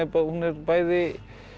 bæði